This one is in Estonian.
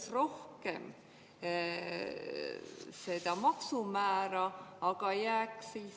Ma loen ühelt lehelt kasiino21.com, et tänu liberaalsele ettevõtluskeskkonnale ning madalale maksumäärale tegutseb Eestis kümneid kaughasartmänge pakkuvaid ettevõtteid.